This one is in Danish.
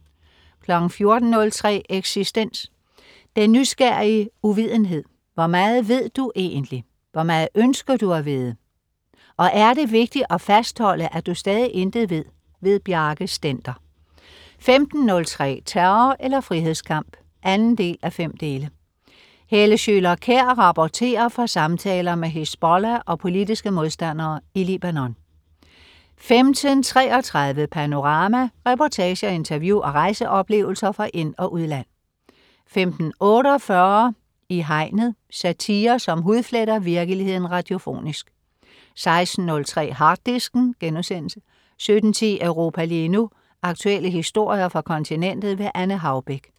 14.03 Eksistens. Den nysgerrige uvidenhed. Hvor meget ved du egentligt? Hvor meget ønsker du at vide? Og er det vigtigt at fastholde at du stadig intet ved. Bjarke Stender 15.03 Terror eller frihedskamp 2:5. Helle Schøler Kjær rapporterer fra samtaler med Hizbollah og politiske modstandere i Libanon 15.33 Panorama. Reportager, interview og rejseoplevelser fra ind- og udland 15.48 I Hegnet. Satire, som hudfletter virkeligheden radiofonisk 16.03 Harddisken* 17.10 Europa lige nu. Aktuelle historier fra kontinentet. Anne Haubek